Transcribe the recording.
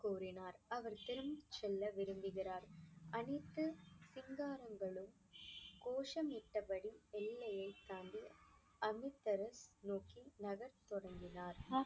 கூறினார் அவர் திரும்பிச் செல்ல விரும்புகிறார் அனைத்து கோஷமிட்டபடி எல்லையைத் தாண்டி அமிர்தசரஸ் நோக்கி நகரத் தொடங்கினார்.